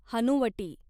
हनुवटी